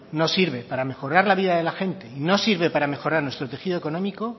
no sirve para mejorar la vida de la gente y no sirve para mejorar nuestro tejido económico